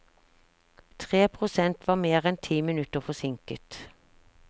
Tre prosent var mer enn ti minutter forsinket.